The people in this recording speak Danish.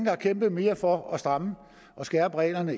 har kæmpet mere for at stramme og skærpe reglerne